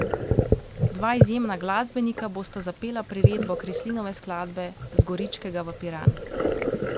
Dva izjemna glasbenika bosta zapela priredbo Kreslinove skladbe Z Goričkega v Piran.